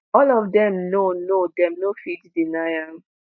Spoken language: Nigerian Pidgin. "all of dem know know dem no fit deny am.”